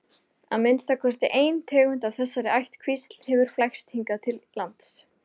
Að minnsta kosti ein tegund af þessari ættkvísl hefur flækst hingað til lands.